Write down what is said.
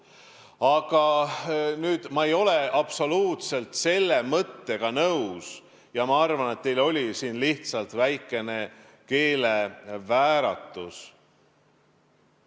Aga ma ei ole absoluutselt nõus teie selle mõttega ja arvan, et teil oli lihtsalt väikene keelevääratus.